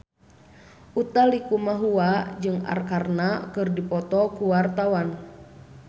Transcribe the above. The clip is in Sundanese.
Utha Likumahua jeung Arkarna keur dipoto ku wartawan